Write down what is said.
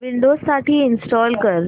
Windows साठी install कर